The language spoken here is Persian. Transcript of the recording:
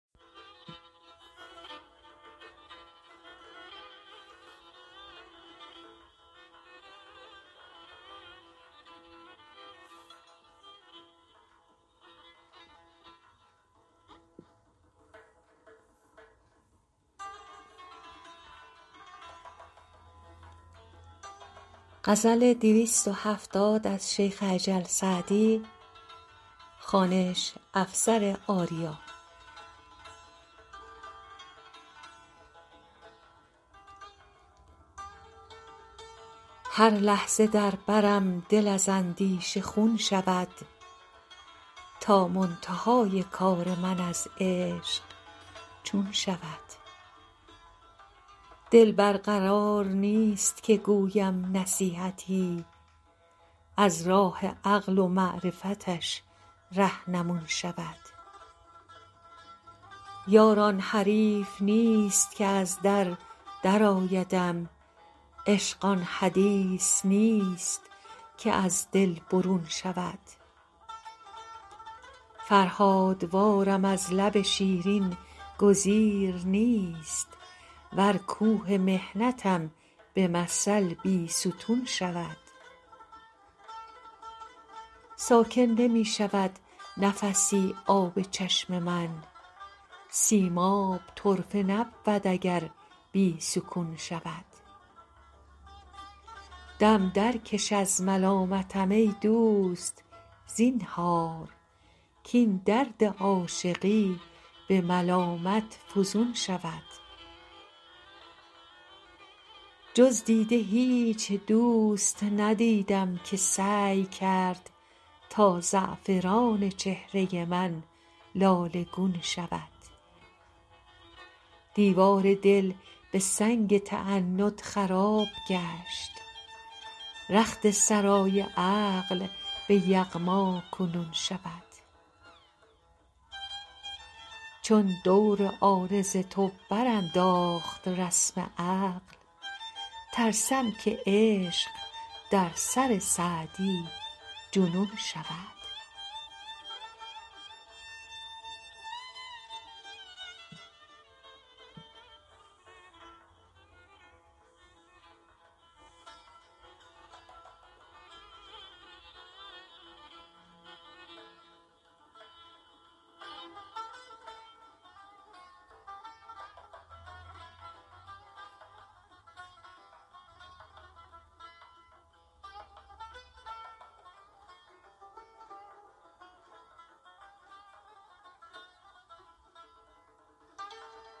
هر لحظه در برم دل از اندیشه خون شود تا منتهای کار من از عشق چون شود دل بر قرار نیست که گویم نصیحتی از راه عقل و معرفتش رهنمون شود یار آن حریف نیست که از در درآیدم عشق آن حدیث نیست که از دل برون شود فرهادوارم از لب شیرین گزیر نیست ور کوه محنتم به مثل بیستون شود ساکن نمی شود نفسی آب چشم من سیماب طرفه نبود اگر بی سکون شود دم درکش از ملامتم ای دوست زینهار کاین درد عاشقی به ملامت فزون شود جز دیده هیچ دوست ندیدم که سعی کرد تا زعفران چهره من لاله گون شود دیوار دل به سنگ تعنت خراب گشت رخت سرای عقل به یغما کنون شود چون دور عارض تو برانداخت رسم عقل ترسم که عشق در سر سعدی جنون شود